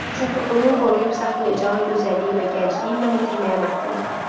Çünki onun qoruyub saxlayacağı gözəlliyi və gəncliyi mən itirməyə məhkumam.